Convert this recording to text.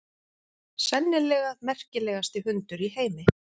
Sennilega merkilegasti hundur í heimi.